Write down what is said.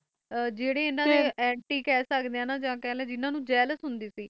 ਕਿ ਜੇਰੇ ਹਨ ਡੇ ਅੰਤਿ ਸੀ ਨਾ ਜਾ ਖਾ ਲੋ ਜਿਨ੍ਹਾਂ ਨੂੰ ਜਲਾਸ ਹੁੰਦੀ ਸੀ